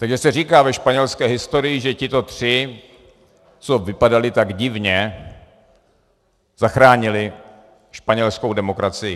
Takže se říká ve španělské historii, že tito tři, co vypadali tak divně, zachránili španělskou demokracii.